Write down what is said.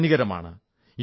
അത് ഹാനികരമാണ്